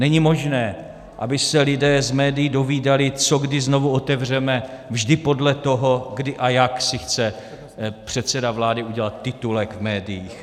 Není možné, aby se lidé z médií dozvídali, co kdy znovu otevřeme, vždy podle toho, kdy a jak si chce předseda vlády udělat titulek v médiích.